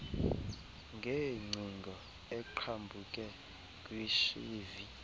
ngeengcingo eqhambuke kwishivi